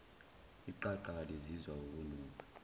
iqaqa kalizizwa ukunuka